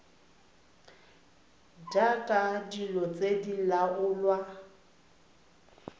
jaaka dilo tse di laolwa